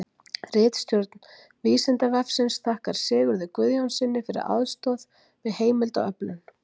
Ritstjórn Vísindavefsins þakkar Sigurði Guðjónssyni fyrir aðstoð við heimildaöflun.